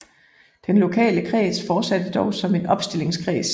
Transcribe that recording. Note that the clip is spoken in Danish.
Den lokale kreds fortsatte dog som en opstillingskreds